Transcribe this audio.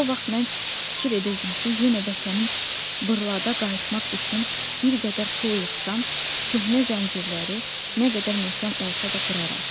O vaxt mən fikir edirdim ki, yenə vətənim Bırlada qayıtmaq üçün bir qədər pul yığsam, köhnə zəncirləri nə qədər möhkəm olsa da qıraram.